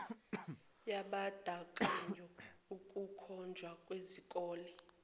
yabandakanya ukukhonjwa kwezikole